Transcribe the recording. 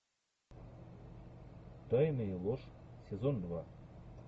тайны и ложь сезон два